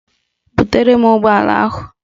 Butere m ụgbọala ahụ!